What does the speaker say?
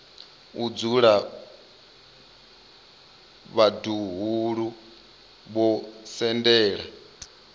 o dzula vhaḓuhulu vho sendela